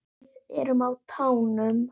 Við erum á tánum.